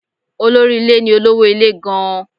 Olórí ilé ni olówó ilé gan-an.